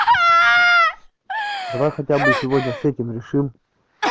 давай хотя бы сегодня с этим решим